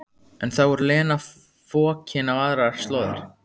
En þá er Lena fokin á aðrar slóðir.